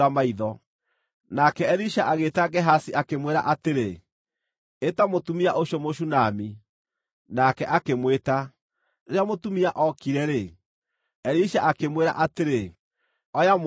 Nake Elisha agĩĩta Gehazi, akĩmwĩra atĩrĩ, “Ĩta mũtumia ũcio Mũshunami.” Nake akĩmwĩta. Rĩrĩa mũtumia ookire-rĩ, Elisha akĩmwĩra atĩrĩ, “Oya mũrũguo.”